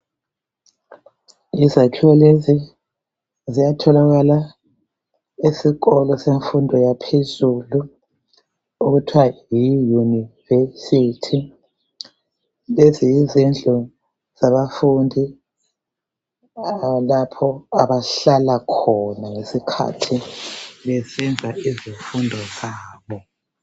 Izakhiwo lezi ziyatholakala esikolo semfundo yaphezulu okuthiwa yi yunivesithi. Lezi yizindlu zabafundi lapho abahlala khona ngesikhathi besenza izifundo zabo.